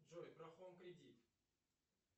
джой про хоум кредит